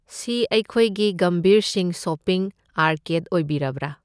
ꯁꯤ ꯑꯩꯈꯣꯏꯒꯤ ꯒꯝꯚꯤꯔ ꯁꯤꯡꯍ ꯁꯣꯞꯄꯤꯡ ꯑꯥꯔꯀꯦꯗ ꯑꯣꯏꯕꯤꯔꯕ꯭ꯔꯥ?